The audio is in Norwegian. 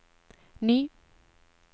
ny